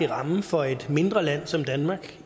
ramme for et mindre land som danmark